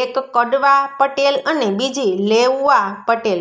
એક કડવા પટેલ અને બીજી લેઉવા પટેલ